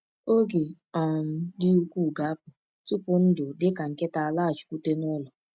Oge um dị ukwuu ga-apụ tupu ndụ dị ka nkịtị laghachikwute n’ụlọ.